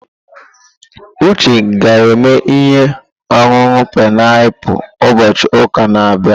Uche ga-eme ihe ọṅụṅụ painiapulu ụbọchị ụka na-abịa.